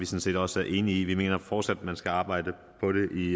set også er enige i vi mener fortsat at man skal arbejde på det i